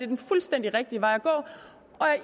den fuldstændig rigtige vej at gå